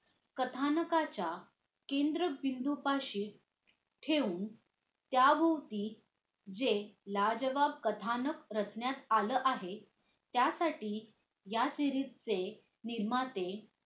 कथानकाच्या केंद्रबिंदूपाशी ठेवून त्याभोवती जे लाजवाब कथानक रचण्यात आलं आहे त्यासाठी या series चे निर्माता